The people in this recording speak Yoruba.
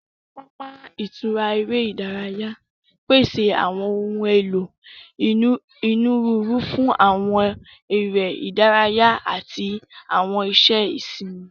Awọn papa itura ere idaraya pese awọn ohun elo oniruuru fun awọn ere idaraya ati awọn iṣẹ isinmi.